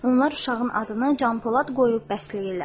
Onlar uşağın adını Canpolad qoyub bəsləyirlər.